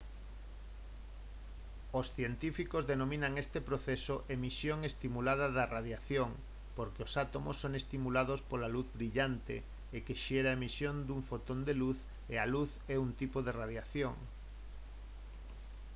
os científicos denominan este proceso emisión estimulada de radiación porque os átomos son estimulados pola luz brillante o que xera a emisión dun fotón de luz e a luz é un tipo de radiación